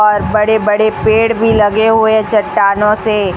और बड़े बड़े पेड़ भी लगे हुए है चट्टानों से--